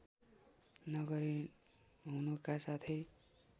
नगरी हुनुका साथै